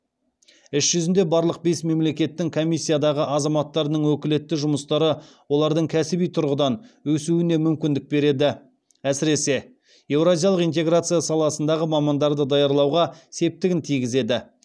іс жүзінде барлық бес мемлекеттің комиссиядағы азаматтарының өкілетті жұмыстары олардың кәсіби тұрғыдан өсуіне мүмкіндік береді әсіресе еуразиялық интеграция саласындағы мамандарды даярлауға септігін тигізеді